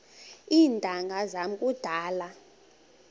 iintanga zam kudala